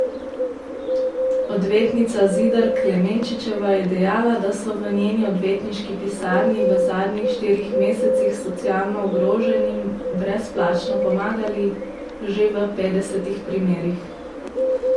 Odvetnica Zidar Klemenčičeva je dejala, da so v njeni odvetniški pisarni v zadnjih štirih mesecih socialno ogroženim brezplačno pomagali že v petdesetih primerih.